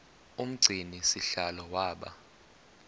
umgcini sihlalo waba